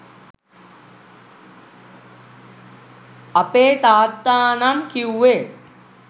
අපේ තාත්තා නම් කිවුවේ